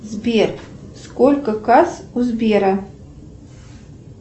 сбер сколько касс у сбера